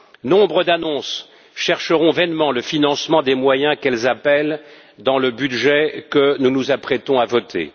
Nombre d'annonces chercheront vainement le financement des moyens qu'elles appellent dans le budget que nous nous apprêtons à voter.